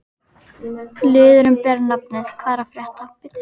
Liðurinn ber nafnið: Hvað er að frétta?